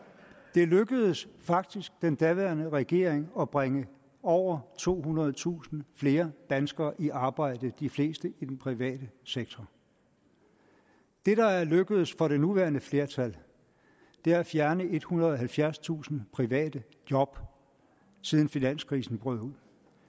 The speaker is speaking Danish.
det lykkedes faktisk den daværende regering at bringe over tohundredetusind flere danskere i arbejde de fleste i den private sektor det der er lykkedes for det nuværende flertal er at fjerne ethundrede og halvfjerdstusind private job siden finanskrisen brød ud